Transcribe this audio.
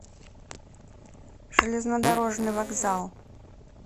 железнодорожный вокзал